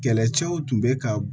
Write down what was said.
Kɛlɛcɛw tun bɛ ka